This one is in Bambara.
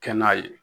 Kɛ n'a ye